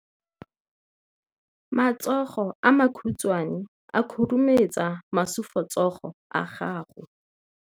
Matsogo a makhutshwane a khurumetsa masufutsogo a gago.